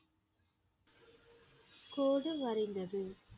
கோடு வரைந்தது